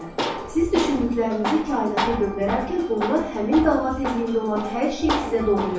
Siz düşündüklərinizi kainata göndərərkən onlar həmin dalğa tezliyində olan hər şeyi sizə doğru gəlir.